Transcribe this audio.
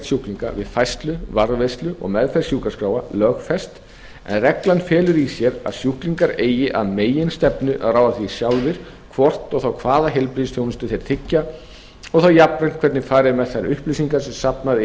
sjúklinga við færslu varðveislu og meðferð sjúkraskráa lögfest en reglan felur í sér að sjúklingar eigi að meginstefnu að ráða því sjálfir hvort og þá hvaða heilbrigðisþjónustu þeir tryggja og þá jafnvel hvernig farið er með þær upplýsingar sem safnað